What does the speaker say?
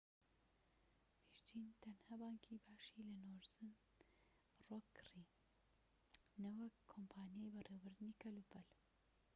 ڤیرجین تەنها بانكی باشی' لە نۆرزن ڕۆک کڕی نەوەک کۆمپانیای بەڕێوەبردنی کەلوپەل